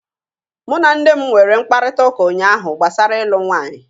Mụ na nne m nwere mkparịtaụka ụnyaahụ gbasara ịlụ nwaanyị.